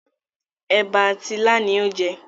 ẹ̀bà àti ilá ni ó jẹ